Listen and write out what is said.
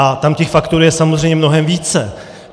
A tam těch faktorů je samozřejmě mnohem více.